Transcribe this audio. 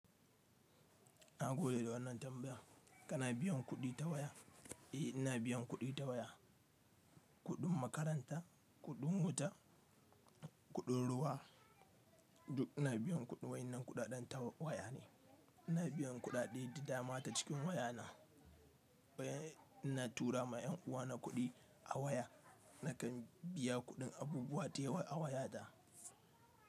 Na gode da wannan tambaya. Kana biyan kuɗi ta waya? Eh ina biyan kuɗi ta waya. Kuɗin makaranta, kuɗin wuta, kuɗin ruwa duk ina biyan kuɗin wayannan kuɗaɗen ta waya ne. Ina biyan kuɗaɗe da dama ta cikin waya na. Ina tura ma 'yan uwa na kuɗi a waya. Nakan biya kuɗin abubuwa da yawa a waya ta.